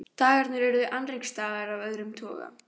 Dagarnir urðu annríkisdagar af öðrum toga.